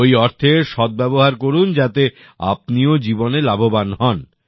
ওই অর্থের সদ্ব্যবহার করুন যাতে আপনিও জীবনে লাভবান হন